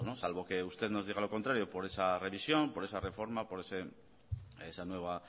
salvo que usted nos diga lo contrario por esa revisión por esa reforma por esa nueva